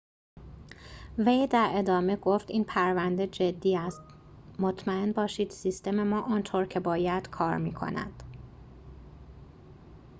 وی در ادامه گفت این پرونده جدی است مطمئن باشید سیستم ما آنطور که باید کار می‌کند